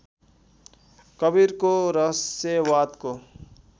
कवीरको रहस्यवादको